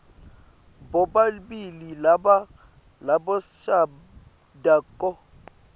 bobabili laba labashadako